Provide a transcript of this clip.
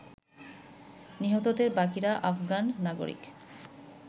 নিহতদের বাকিরা আফগান নাগরিক।